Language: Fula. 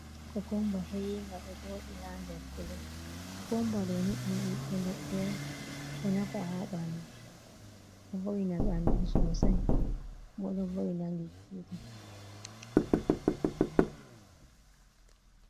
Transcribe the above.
Kookumba he`iinga ɗo jooɗi, haa nder pitet, koo kumba ɗooni ɗum ɓibbe leɗɗe no, boo nafa haa ɓanndu. Ɗo vo’itina ɓanndu soosay bo ɗo vo’itina gite.